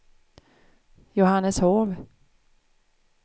Johanneshov